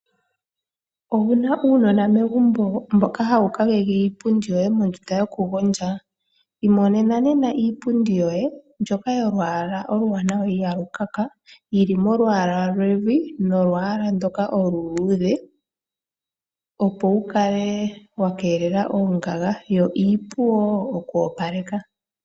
Owuna uunona megumbo mboka hawu kakeke iipundi yoye mondunda yokugondja ?iimonena nena iipundi yoye mbyoka yolwaala ihalu kaka yili molwaala lwevi nolwaala ndika oluludhe opo wukale wakelela ongaga yo iipu wo oku opaleka.